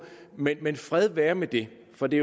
men fred være med det for det